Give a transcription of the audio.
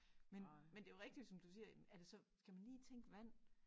Men men det jo rigtigt som du siger er det så skal man lige tænke vand